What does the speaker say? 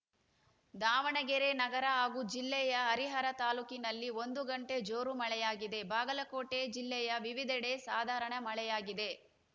ದಾವಣಗೆರೆ ನಗರ ಹಾಗೂ ಜಿಲ್ಲೆಯ ಹರಿಹರ ತಾಲೂಕಿನಲ್ಲಿ ಒಂದು ಗಂಟೆ ಜೋರು ಮಳೆಯಾಗಿದೆ ಬಾಗಲಕೋಟೆ ಜಿಲ್ಲೆಯ ವಿವಿಧೆಡೆ ಸಾಧಾರಣ ಮಳೆಯಾಗಿದೆ